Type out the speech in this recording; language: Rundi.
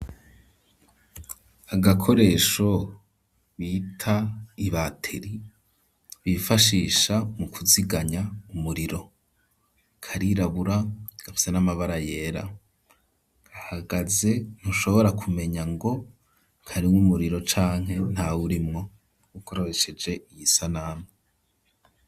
Agakoresho bita ibateri, bifashisha mu kuziganya umuriro, karirabura gafise n'amabara yera, gahagaze ntushobora kumenya ngo karimwo umuriro canke ntawurimwo, ukoresheje iyi sanamu.